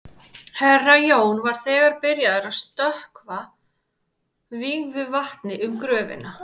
Herra Jón var þegar byrjaður að stökkva vígðu vatni um gröfina.